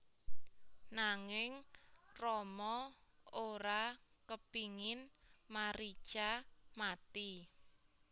Nanging Rama ora kepingin Marica mati